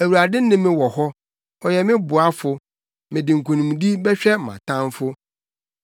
Awurade ne me wɔ hɔ; ɔyɛ me boafo. Mede nkonimdi bɛhwɛ mʼatamfo.